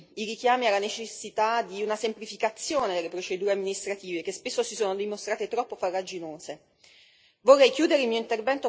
Infine, giudico positivi i richiami alla necessità di una semplificazione delle procedure amministrative, che spesso si sono dimostrate troppo farraginose.